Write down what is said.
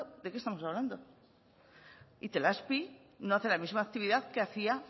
de qué estamos hablando itelazpi no hace la misma actividad que hacía